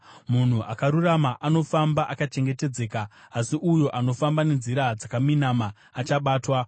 Munhu akarurama anofamba akachengetedzeka, asi uyo anofamba nenzira dzakaminama achabatwa.